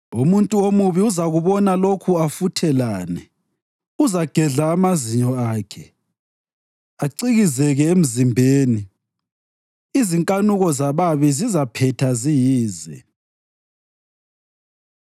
Umuntu omubi uzakubona lokhu afuthelane, uzagedla amazinyo akhe, acikizeke emzimbeni; izinkanuko zababi zizaphetha ziyize.